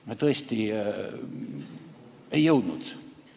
Me tõesti ei jõudnud.